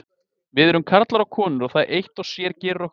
Við erum karlar og konur og það eitt og sér gerir okkur sérstök.